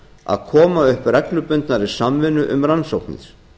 að koma upp reglubundnari samvinnu um rannsóknir